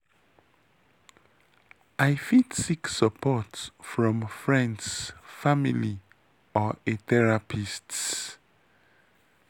i fit seek support from freinds family or a therapist.